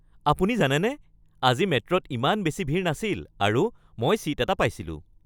আপুনি জানেনে আজি মেট্ৰ'ত ইমান বেছি ভিৰ নাছিল আৰু মই ছীট এটা পাইছিলোঁ?